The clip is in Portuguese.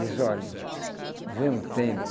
Diz, olha, vem um tempo,